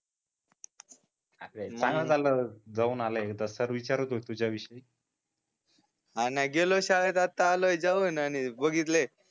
चांगल झाल जाऊन आला तर सर विचारत होते तुज्या विषयी हा नाही गेलो शाळेत आता आलोय जाऊन अन बघितले